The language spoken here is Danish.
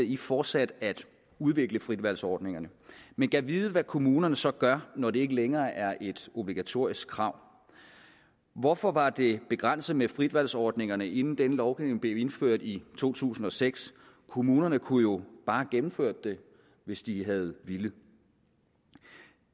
i fortsat at udvikle fritvalgsordningerne men gad vide hvad kommunerne så gør når det ikke længere er et obligatorisk krav hvorfor var det begrænset med fritvalgsordningerne inden denne ordning blev indført i 2006 kommunerne kunne jo bare have gennemført dem hvis de havde villet